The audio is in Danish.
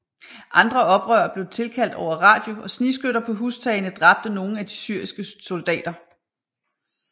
Andre oprørere blev tilkaldt over radio og snigskytter på hustagene dræbte nogen af de syriske soldater